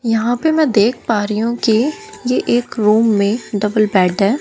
यहां पे मैं देख पा रही हूं कि ये एक रूम में डबल बेड है।